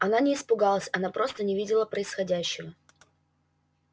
она не испугалась она просто не видела происходящего